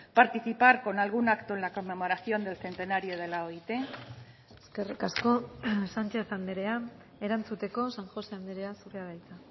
participar con algún acto en la conmemoración del centenario de la oit eskerrik asko sánchez andrea erantzuteko san josé andrea zurea da hitza